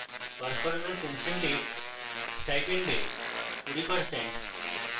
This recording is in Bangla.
পারফরমেন্স incentive স্টাইপেন্ডের 20%